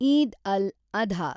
Eid al, Adha